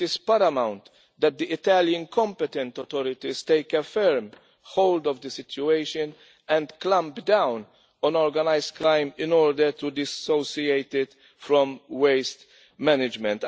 It is paramount that the Italian competent authorities take a firm hold of the situation and clamp down on organised crime in order to dissociate it from waste management.